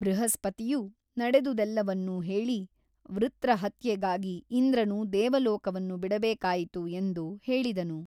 ಬೃಹಸ್ಪತಿಯು ನಡೆದುದೆಲ್ಲವನ್ನೂ ಹೇಳಿ ವೃತ್ರಹತ್ಯೆಗಾಗಿ ಇಂದ್ರನು ದೇವಲೋಕವನ್ನು ಬಿಡಬೇಕಾಯಿತು ಎಂದು ಹೇಳಿದನು.